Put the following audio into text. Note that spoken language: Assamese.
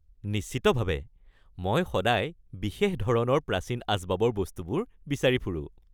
নিশ্চিতভাৱে! মই সদায় বিশেষ ধৰণৰ প্ৰাচীন আচবাবৰ বস্তুবোৰ বিচাৰি ফুৰোঁ।